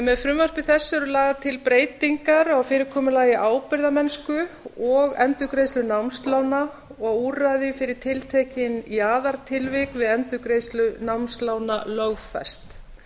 með frumvarpi þessu eru lagðar til breytingar á fyrirkomulagi ábyrgðarmennsku og endurgreiðslu námslána og úrræði fyrir tiltekin jaðartilvik við endurgreiðslu námslána lögfest